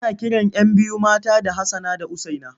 Ana kiran 'yan biyu mata da Hassana da Usaina.